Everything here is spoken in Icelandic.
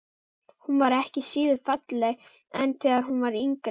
Hún var ekki síður falleg en þegar hún var yngri.